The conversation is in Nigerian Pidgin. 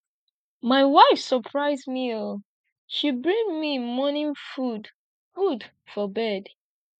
my wife surprise me oo she bring me morning food food for bed